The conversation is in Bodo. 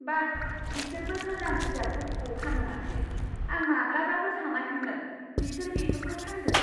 बा! बिसोरबो गोजाम बिजाबफोरखौ फानो माथो! आं माब्लाबाबो सानाखैमोन बिसोर बेफोरखौ फानगोन!